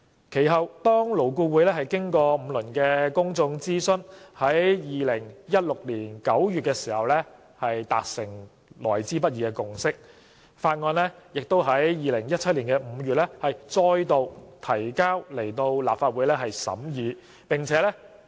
其後，勞顧會經過5輪公眾諮詢，於2016年9月達成來之不易的共識，當局遂於2017年5月再度向立法會提交《條例草案》。